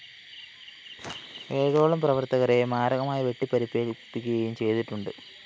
ഏഴോളം പ്രവര്‍ത്തകരെ മാരകമായി വെട്ടിപ്പരിക്കേല്‍പ്പിക്കുകയും ചെയ്തിട്ടുണ്ട്